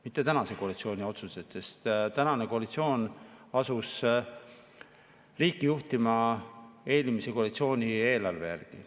Mitte tänase koalitsiooni otsused, sest tänane koalitsioon asus riiki juhtima eelmise koalitsiooni eelarve järgi.